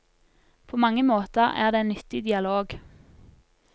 På mange måter er det en nyttig dialog.